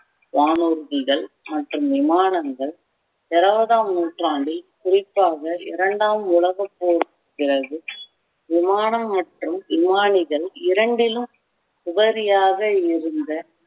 வானூர்திகள் மற்றும் விமானங்கள் இருபதாம் நூற்றாண்டில் குறிப்பாக இரண்டாம் உலகப்போருக்கு பிறகு விமானம் மற்றும் விமானிகள் இரண்டிலும் உபரியாக இருந்த